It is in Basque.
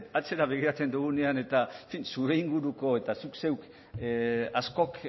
atzera begiratzen dugunean eta zure inguruko eta zu zeuk askok